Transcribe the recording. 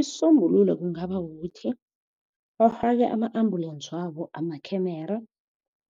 Isisombulo kungaba kukuthi bafake ama-ambulensi wabo amakhemera